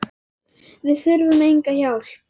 Við þurfum enga hjálp.